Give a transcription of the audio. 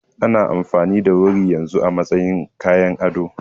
Ana amfani da wuri yanzu a matsayin kayan ado.